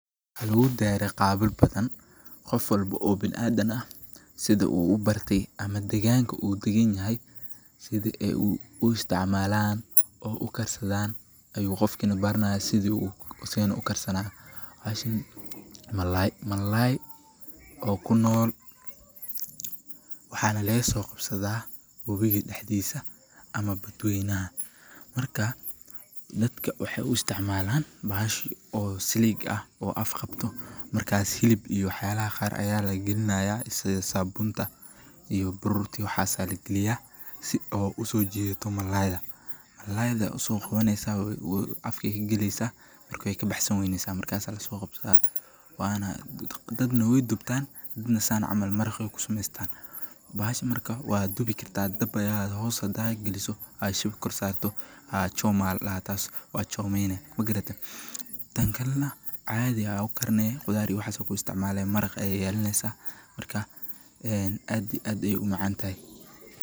Waxaa luuddeere qaabil batan qof walbo oo bin aad danaa sida uu u barti ama deegaanka uu degan yahay sida ee uu isticmaalaan oo u karsadaan ayuu qofkina barnaa sidii u oo seena u karsanaa. Haashin malaay malaay oo ku nool waxaan leeso qabsadaa buubiyad xiddisa ama badwaynaa. Markaa dadka waxay u isticmaalaan baaheshi oo silig ah oo afqabto markaa silib iyo xaalaha qaar ayaa la girnaayaa isaga sabunta iyo bururuti waxaasaa la geliyaa si oo u soo jeedo malaada. Malaada u soo qofanaysa afki keliisa markii ka baxsan weynaysa markaa sala soqob sa. Waana dad nooy dubtaan dad na saan camal marakay ku sumistaan? Baahash markaa waa dubi kirka dabaya hoosa daag geliso aashib kor saarto. Choma ya ladaha taasi oo chomeni magaraata. Tankalena caadi aad u karnee khudaari waxa ku isticmaalaya marag ay yeelaneysaa markaa aan aadi aad ay u macantahay.